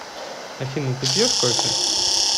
афина ты пьешь кофе